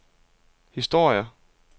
historie